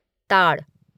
ताड़